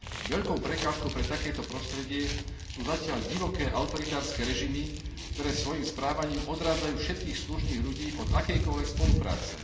Veľkou prekážkou pre takéto prostredie sú zatiaľ divoké autoritárske režimy, ktoré svojím správaním odrádzajú všetkých slušných ľudí od akejkoľvek spolupráce.